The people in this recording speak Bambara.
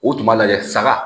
U tun b'a lajɛ saga